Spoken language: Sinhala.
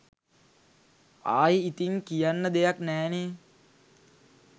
ආයි ඉතින් කියන්න දෙයක් නෑනේ